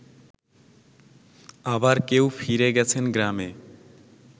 আবার কেউ ফিরে গেছেন গ্রামে